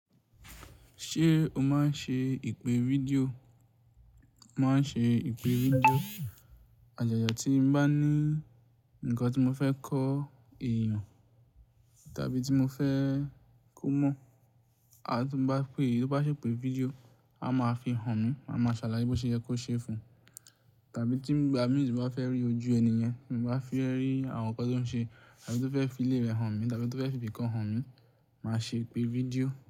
Ṣé o máa ń ṣe ìpè fídíò? Mo máa ń ṣe ìpè fídíò. Àjàjà tí mo bá ní ǹkan tí mo fẹ́ kọ èèyàn tàbí tí mo fẹ́ kó mọ̀, àti tí mo bá pé èyí tó bá ṣe ìpè fídíò, a máa fi hàn mí, a máa ṣàlàyé bó ṣe yẹ kó ṣe fún un. Tàbí tí igba mii ti n bá fẹ́ rí ojú ẹni yen, ti mo bá fẹ́ rí àwọn ǹkan tó ń ṣe tàbí tó fẹ́ fi ilé rẹ̀ hàn mí tàbí tó fẹ́ fi ibìkan hàn mí, màá ṣe ìpè fídíò.